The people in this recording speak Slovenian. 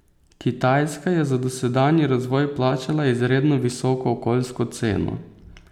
Kitajska je za dosedanji razvoj plačala izredno visoko okoljsko ceno.